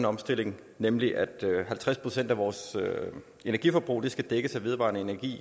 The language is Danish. omstilling nemlig at halvtreds procent af vores energiforbrug i skal dækkes af vedvarende energi